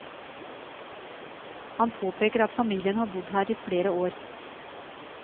Han påpeker at familien har bodd her i flere år.